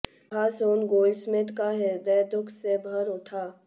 यह सुन गोल्डस्मिथ का हृदय दुख से भर उठा